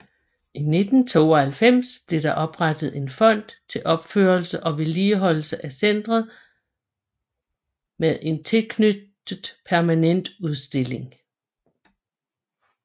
I 1992 blev der oprettet en fond til opførelse og vedligeholdelse af centret med en tilknyttet permanent udstilling